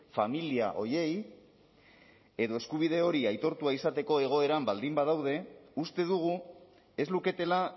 familia horiei edo eskubide hori aitortua izateko egoeran baldin badaude uste dugu ez luketela